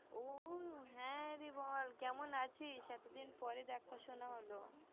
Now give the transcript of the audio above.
হ্যা দি বল কেমন আছিস এতদিন পর দেখা সোনা হলো